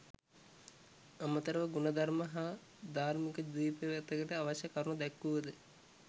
අමතරව ගුණධර්ම හා ධාර්මික දිවිපෙවතකට අවශ්‍ය කරුණු දැක්වුවද